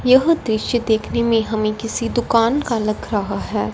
यह दृश्य देखने में हमें किसी दुकान का लग रहा है।